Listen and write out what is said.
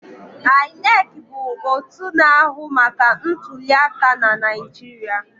INEC bụ otu na-ahụ maka ntuliaka na Naijiria.